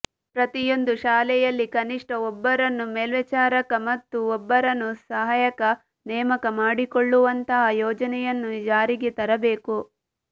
ಪ್ರತಿಯೊಂದು ಶಾಲೆಯಲ್ಲಿ ಕನಿಷ್ಠ ಒಬ್ಬರನ್ನು ಮೇಲ್ವಿಚಾರಕ ಮತ್ತು ಒಬ್ಬರನು ಸಹಾಯಕ ನೇಮಕ ಮಾಡಿಕೊಳ್ಳುವಂತಹ ಯೋಜನೆಯನ್ನು ಜಾರಿಗೆ ತರಬೇಕು